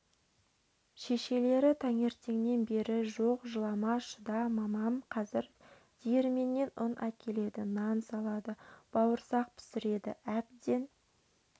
шешелері таңертеңнен бері жоқ жылама шыда мамам қазір диірменнен ұн әкеледі нан салады бауырсақ пісіреді әбден